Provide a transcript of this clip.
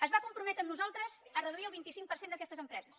es va comprometre amb nosaltres a reduir el vint cinc per cent d’aquestes empreses